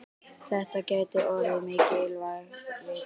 Þetta gæti orðið mikilvæg vika.